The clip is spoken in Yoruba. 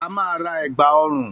A máa ra ègbà ọrùn